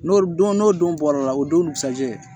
N'o don n'o don bɔra la o donsajɛ